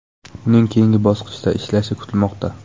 Uning keyingi bosqichda ishlashi kutilmoqda.